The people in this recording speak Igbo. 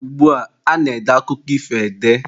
Ugbua, a na-ede akụkọ ifo ede.